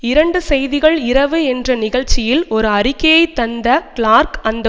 இரண்டு செய்திகள் இரவு என்ற நிகழ்ச்சியில் ஒரு அறிக்கையை தந்த கிளார்க் அந்த